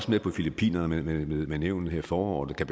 med på filippinerne med nævnet her i foråret og kan